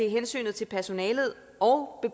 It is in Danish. hensyn til personalet og